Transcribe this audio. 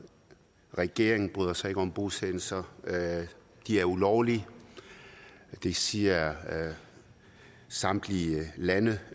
regeringen bryder sig ikke om bosættelser de er ulovlige det siger samtlige lande